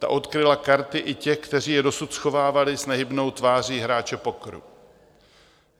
Ta odkryla karty i těch, kteří je dosud schovávali s nehybnou tváří hráče pokeru.